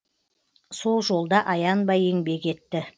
сол жолда аянбай еңбек етті